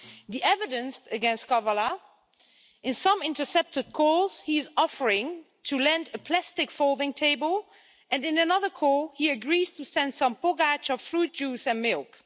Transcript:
The evidence against Kavala in some intercepted calls, he is offering to lend a plastic folding table and in another call, he agrees to send some packages of fruit juice and milk.